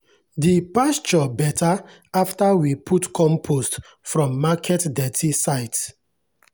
the pasture better after we put compost from market dirty site.